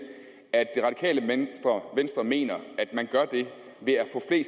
at det radikale venstre mener at man gør det ved